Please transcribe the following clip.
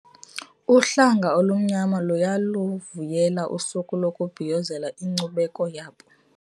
Uhlanga olumnyama luyaluvuyela usuku lokubhiyozela inkcubeko yabo.